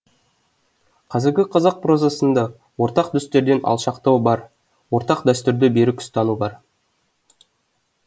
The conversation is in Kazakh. қазіргі қазақ прозасында ортақ дәстүрден алшақтау бар ортақ дәстүрді берік ұстану бар